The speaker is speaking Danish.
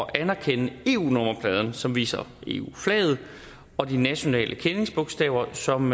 at anerkende eu nummerpladen som viser eu flaget og de nationale kendingsbogstaver som